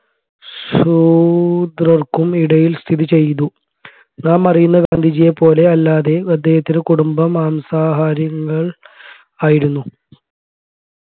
ശൂദ്രർക്കും ഇടയിൽ സ്ഥിതി ചെയ്തു നാം അറിയുന്ന ഗാന്ധിജിയെ പോലെ അല്ലാതെ അദ്ദേഹത്തിൻെറ കുടുംബം മാംസാഹാരങ്ങൾ ആയിരുന്നു